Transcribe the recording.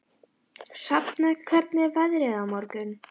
Hrafna, hvernig er veðrið á morgun?